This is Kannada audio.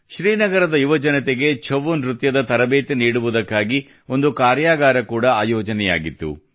ಶ್ರೀನಗರದ ಯುವಜನತೆಗೆ ಛವು ನೃತ್ಯದ ತರಬೇತಿ ನೀಡುವುದಕ್ಕಾಗಿ ಒಂದು ಕಾರ್ಯಾಗಾರ ಕೂಡಾ ಆಯೋಜನೆಯಾಗಿತ್ತು